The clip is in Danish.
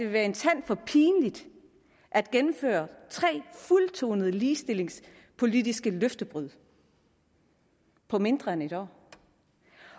være en tand for pinligt at gennemføre tre fuldtonede ligestillingspolitiske løftebrud på mindre end et år